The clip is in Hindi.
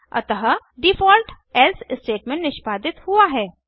अतः डिफ़ॉल्ट एल्से स्टेटमेंट निष्पादित हुआ है